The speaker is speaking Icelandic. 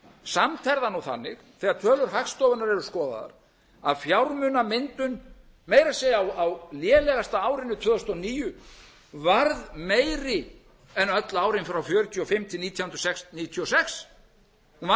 samt er það nú þannig þegar tölur hagstofunnar eru skoðaðar að fjármunamyndun meira að segja á lélegasta árinu tvö þúsund og níu varð meiri en öll árin frá nítján hundruð fjörutíu og fimm til nítján hundruð níutíu og sex hún var